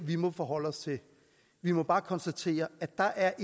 vi må forholde os til vi må bare konstatere at der er